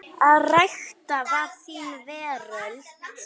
Að rækta var þín veröld.